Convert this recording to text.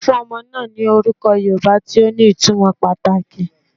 Won fun omo naa ni oruko Yoruba ti o ni itumo pataki